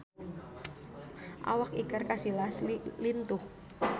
Awak Iker Casillas lintuh